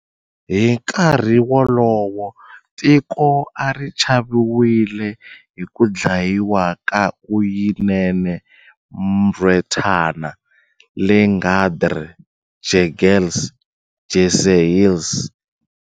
Hi nkarhi wolowo, tiko a ri chaviwile hi ku dlayiwa ka Uyinene Mrwetyana, Leighandre Jegels, Jesse Hess.